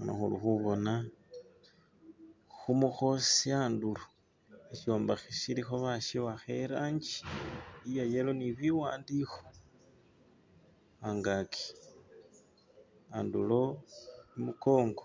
Khuno khuli khubona khumukhosi andulo sishombekhe shilikho bashiwakha irangi iye yellow ne biwandikho angaki andulo, khumukongo